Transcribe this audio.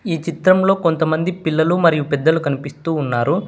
ఈ చిత్రం లో కొంతమంది పిల్లలు మరియు పెద్దలు కనిపిస్తూ ఉన్నారు.